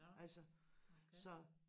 Nåh okay